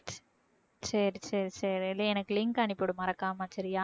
சரி சரி சரி நீ எனக்கு link அனுப்பி விடு மறக்காம சரியா